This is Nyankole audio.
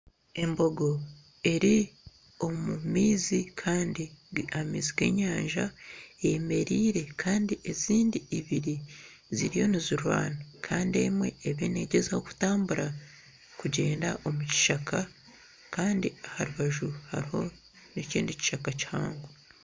Embogo eri omu maizi kandi amaizi ag'enyanja, eyemereire kandi ezindi ibiri ziriyo nizirwana kandi emwe eriyo negyezaho kutambura kugyenda omu kishaka kandi aha rubaju hariho ekindi kishaka kihango